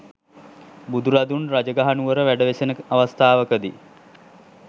බුදුරදුන් රජගහ නුවර වැඩ වෙසෙන අවස්ථාවකදී